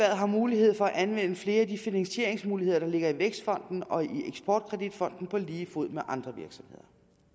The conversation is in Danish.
har mulighed for at anvende flere af de finansieringsmuligheder der ligger i vækstfonden og i eksportkreditfonden på lige fod med andre virksomheder